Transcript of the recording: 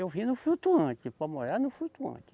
Eu vim no flutuante, para morar no flutuante.